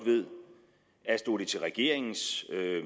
at stod det til regeringen